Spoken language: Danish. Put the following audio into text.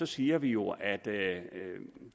siger vi jo at